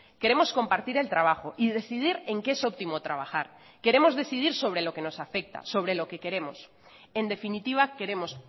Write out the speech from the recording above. queremos compartir el trabajo y decidir en qué es óptimo trabajar queremos decidir sobre lo que nos afecta sobre lo que queremos en definitiva queremos